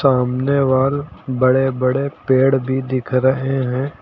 सामने वॉल बड़े बड़े पेड़ भी दिख रहे हैं।